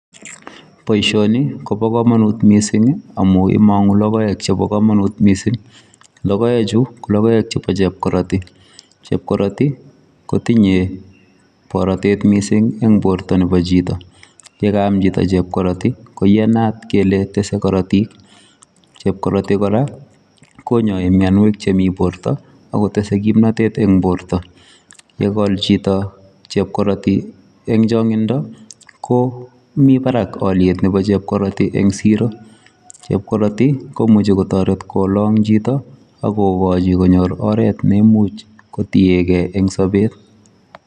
Boisioni ni kobaa kamanuut missing ii amuun imanguu logoek chebo kamanut Missing logoek chuu ko logoek chebo chepkaratii kotinyei baratet missing eng bortoo nebo chitoo, ye kaam chitoo chepkaratii ko iyanaat kele tesei karatik, chepkaratii kora konai mianweek chemii borto ak kotesetai kimnatet eng bortoo, ye kol chitoo chepkaratii ko Mii Barak aliet ab chepkaratii en siro, chepkaratii komuchei kotaret kolang chito agogachi konyoor oret neimuuch kotienkei en sabet.